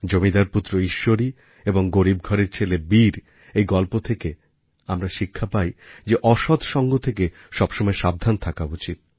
জমিদার পুত্র ঈশ্বরী এবং গরীব ঘরের ছেলে বীরএর এই গল্প থেকে আমরা শিক্ষা পাই যে অসৎ সঙ্গ থেকে সবসময় সাবধান থাকা উচিৎ